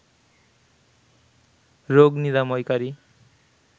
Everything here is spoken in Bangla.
রোগ নিরাময়কারী